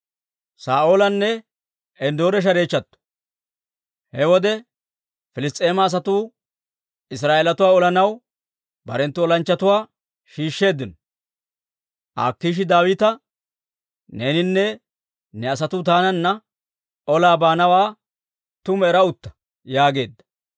He wode Piliss's'eema asatuu Israa'eelatuwaa olanaw barenttu olanchchatuwaa shiishsheeddino. Akiishi Daawita, «Neeninne ne asatuu taananna olaa baanawaa tumu era utta» yaageedda.